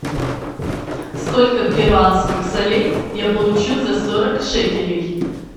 сколько перуанских солей я получу за сорок шекелей